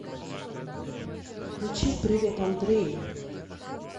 включи привет андрей